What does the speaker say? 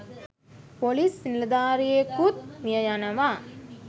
Police නිලධාරියෙකුත් මිය යනවා.